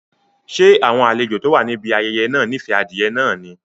Ṣé àwọn àlejò tó wà níbi ayẹyẹ náà nife adìẹ náà ni?